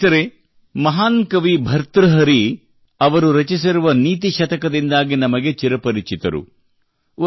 ಸ್ನೇಹಿತರೇ ಮಹಾನ್ ಕವಿ ಭರ್ತೃಹರಿ ಅವರು ರಚಿಸಿರುವ ನೀತಿ ಶತಕದಿಂದಾಗಿ ನಮಗೆ ಚಿರಪರಿಚಿತರು